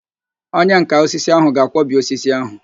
Onyenká osisi ahụ ga-akwọbi osisi ahụ